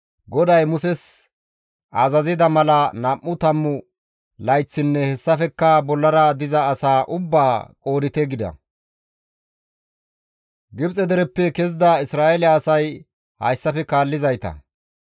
«GODAY Muses azazida mala nam7u tammu layththinne hessafekka bollara diza asaa ubbaa qoodite» gida. Gibxe dereppe kezida Isra7eele asay hayssafe kaallizayta;